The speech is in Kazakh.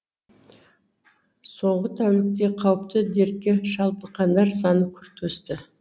соңғы тәулікте қауіпті дертке шалдыққандар саны күрт өсті